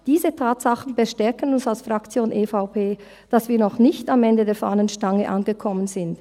Diese Tatsachen bestärken uns als Fraktion EVP, dass wir noch nicht am Ende der Fahnenstange angekommen sind.